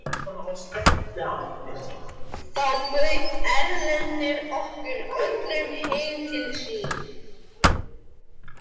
Þá bauð Erlendur okkur öllum heim til sín.